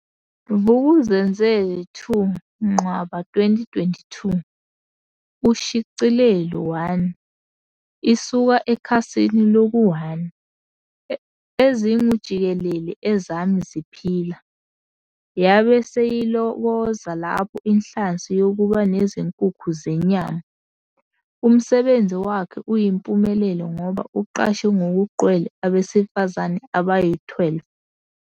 Vuk'uzenzele 2 Ncwaba 2022. Ushicilelo 1. Isuka ekhasini loku-1. EZINGUJIKELELE ezami ziphila. Yabe seyilokoza lapho inhlansi yokuba nezinkukhu zenyama. Umsebenzi wakhe uyimpumelelo ngoba uqashe ngokugcwele abesifazane abayi-12.